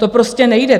To prostě nejde.